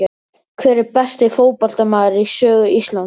Hver er besti fótboltamaðurinn í sögu Íslands?